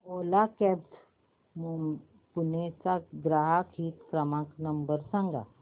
ओला cabs Pune चा ग्राहक हित क्रमांक नंबर सांगा